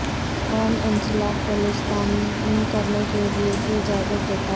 کون انسلاک پولستانی کرنے کے لئے کی اجازت دیتا ہے